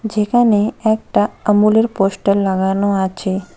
যেকানে একটা আমূল এর পোস্টার লাগানো আচে।